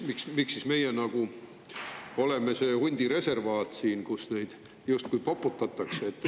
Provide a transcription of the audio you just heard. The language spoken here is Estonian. Miks meie siin oleme siis see hundireservaat, kus neid justkui poputatakse?